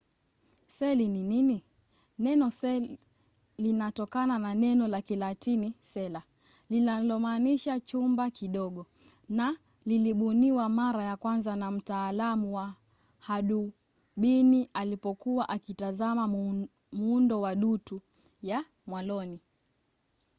seli ni nini? neno cell linatokana na neno la kilatini cella linalomaanisha chumba kidogo na lilibuniwa mara ya kwanza na mtaalamu wa hadubini alipokuwa akitazama muundo wa dutu ya mwaloni